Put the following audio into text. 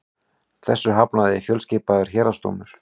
Þessu hafnaði fjölskipaður héraðsdómur